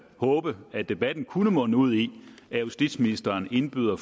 håbe at debatten kunne munde ud i at justitsministeren indbød